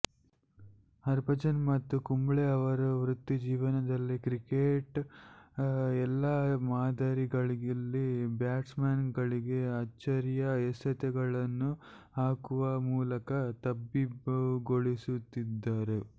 ಹರ್ಭಜನ್ ಮತ್ತು ಕುಂಬ್ಳೆ ಅವರ ವೃತ್ತಿಜೀವನದಲ್ಲಿ ಕ್ರಿಕೆಟ್ನ ಎಲ್ಲಾ ಮಾದರಿಗಳಲ್ಲಿ ಬ್ಯಾಟ್ಸ್ಮನ್ಗಳಿಗೆ ಅಚ್ಚರಿಯ ಎಸೆತಗಳನ್ನು ಹಾಕುವ ಮೂಲಕ ತಬ್ಬಿಬ್ಬುಗೊಳಿಸುತ್ತಿದ್ದರು